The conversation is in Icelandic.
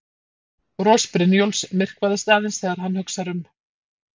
Bros Brynjólfs myrkvast aðeins þegar hann hugsar um